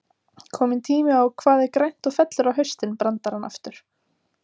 Kominn tími á Hvað er grænt og fellur á haustin? brandarann aftur.